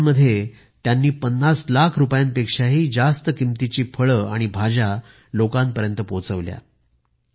lock down मध्ये त्यांनी पन्नास लाख रुपयांपेक्षाही जास्त किमतीच्या फळे आणि भाज्या लोकांपर्यंत पोहोचवल्या